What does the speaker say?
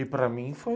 E para mim foi...